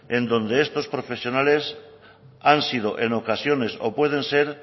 en donde estos profesionales han sido en ocasiones o pueden ser